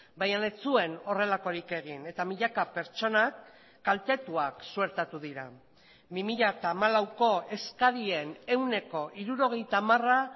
baina ez zuen horrelakorik egin eta milaka pertsonak kaltetuak suertatu dira bi mila hamalauko eskarien ehuneko hirurogeita hamara